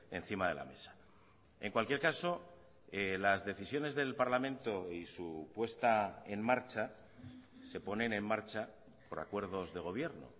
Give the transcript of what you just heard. encima de la mesa en cualquier caso las decisiones del parlamento y su puesta en marcha se ponen en marcha por acuerdos de gobierno